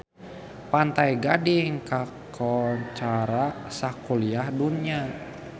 Pantai Gading kakoncara sakuliah dunya